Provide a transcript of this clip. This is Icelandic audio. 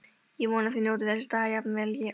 Ég vona þið njótið þessa dags jafn vel og ég.